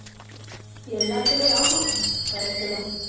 எல்லாத்துலயும் ஆமா correct தான்.